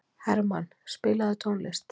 Hermann, spilaðu tónlist.